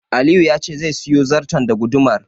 Aliyu ya ce zai siyo zarton da gudumar.